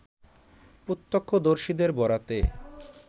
প্রত্যক্ষদর্শীদের বরাতে